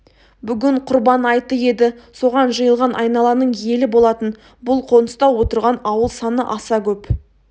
бүгін құрбан айты еді соған жиылған айналаның елі болатын бұл қоныста отырған ауыл саны аса көп